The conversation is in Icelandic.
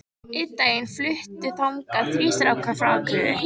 Einn daginn fluttu þangað þrír strákar frá Akureyri.